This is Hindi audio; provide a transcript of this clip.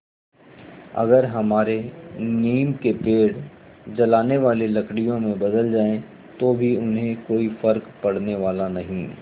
अगर हमारे नीम के पेड़ जलाने वाली लकड़ियों में बदल जाएँ तो भी उन्हें कोई फ़र्क पड़ने वाला नहीं